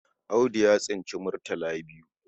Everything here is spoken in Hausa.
Audu ya tsinci murtal biyu.